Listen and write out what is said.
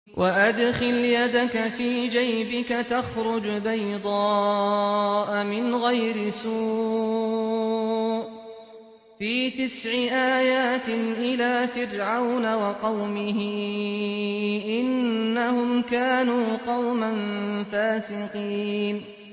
وَأَدْخِلْ يَدَكَ فِي جَيْبِكَ تَخْرُجْ بَيْضَاءَ مِنْ غَيْرِ سُوءٍ ۖ فِي تِسْعِ آيَاتٍ إِلَىٰ فِرْعَوْنَ وَقَوْمِهِ ۚ إِنَّهُمْ كَانُوا قَوْمًا فَاسِقِينَ